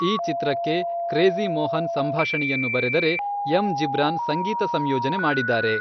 ಈ ಚಿತ್ರಕ್ಕೆ ಕ್ರೇಜಿ಼ ಮೋಹನ್ ಸಂಭಾಷಣೆಯನ್ನು ಬರೆದರೆ, ಎಂ. ಜಿಬ್ರಾನ್ ಸಂಗೀತ ಸಂಯೋಜನೆ ಮಾಡಿದ್ದಾರೆ.